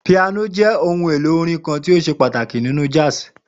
Piano jẹ ohun elo orin kan ti o ṣe ipa pataki ninu jazz